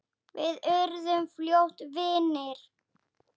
Við urðum fljótt góðir vinir.